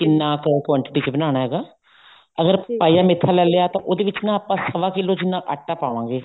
ਕਿੰਨਾ ਕ quantity ਚ ਬਣਾਉਣਾ ਹੈਗਾ ਅਗਰ ਪਾਈਆ ਮੇਥਾ ਲੈਲਿਆ ਤਾਂ ਉਹਦੇ ਵਿੱਚ ਨਾ ਆਪਾਂ ਸਵਾ ਕਿੱਲੋ ਜਿੰਨਾ ਆਟਾ ਪਾਵਾਂਗੇ